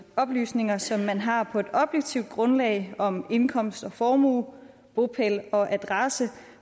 oplysninger som man har på et objektivt grundlag om indkomst og formue bopæl og adresse